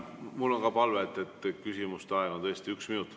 Mul on palve: küsimuse aeg on tõesti üks minut.